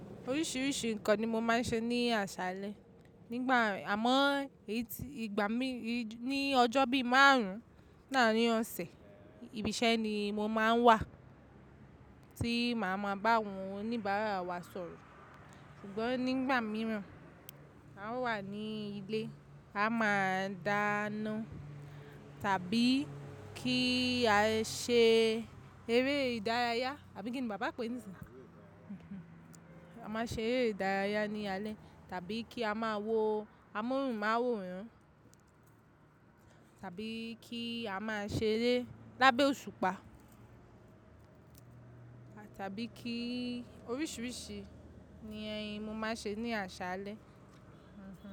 Oríṣiríṣi nǹkan ni mo máa ń ṣe ní àṣálẹ́. Nígbà mi, ní ọjọ́ bíi márùn-ún ní arin ọ̀sẹ̀, ibi iṣẹ́ ni mo máa ń wà, tí màá ma bá àwọn oníbàárà wa sọ̀rọ̀. Ṣùgbọ́n nígbà mìíràn, a wà ní ilé, a máa dáná tàbí kí á ṣe eré ìdárayá, àbí kí ni bàbá pé ní ìṣin? A máa ṣe eré ìdárayá ní alẹ́ tàbí kí a máa wo amóhùnmáwòrán tàbí kí a máa ṣeré lábẹ́ òṣùpá tàbí kí oríṣiríṣi ni, mo máa ṣe ní àṣálẹ́.